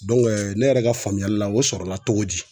ne yɛrɛ ka faamuyali la o sɔrɔla togo di?